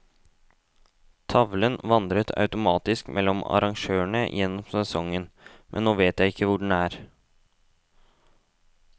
Tavlen vandret automatisk mellom arrangørene gjennom sesongen, men nå vet ikke jeg hvor den er.